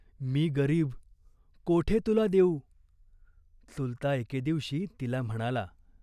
मी गरीब, कोठे तुला देऊ ?" चुलता एके दिवशी तिला म्हणाला.